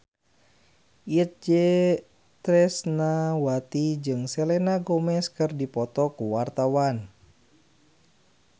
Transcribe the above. Itje Tresnawati jeung Selena Gomez keur dipoto ku wartawan